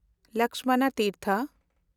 Lakshman Tirtha